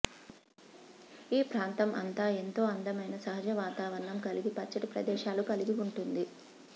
ఈ ప్రాంతం అంతా ఎంతో అందమైన సహజ వాతావరణం కలిగి పచ్చటి ప్రదేశాలు కలిగి ఉంటుంది